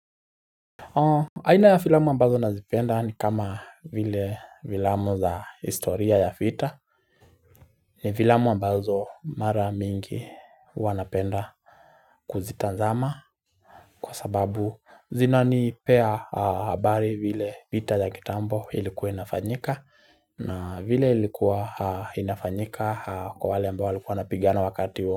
Aina ya filamu ambazo nazipenda ni kama vile filamu za historia ya vita ni filamu ambazo mara mingi huwa napenda kuzitazama Kwa sababu zinanipea habari vile vita ya kitambo ilikuwa inafanyika na vile ilikuwa inafanyika kwa wale ambao walikuwa wanapigana wakati huo.